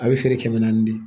A bɛ feere kɛmɛ naani de